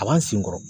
A b'an sen kɔrɔ